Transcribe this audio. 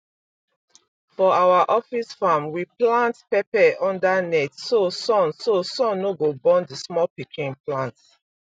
for our office farm we plant pepper under net so sun so sun no go burn the small pikin plant